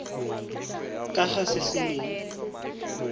ka ga se se neng